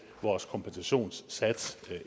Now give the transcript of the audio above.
vores kompensationssats